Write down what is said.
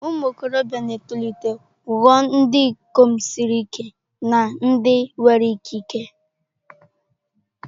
Ụmụ okorobia na-etolite ghọọ ndị ikom siri ike na ndị nwere ikike.